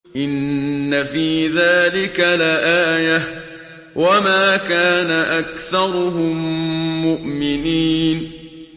إِنَّ فِي ذَٰلِكَ لَآيَةً ۖ وَمَا كَانَ أَكْثَرُهُم مُّؤْمِنِينَ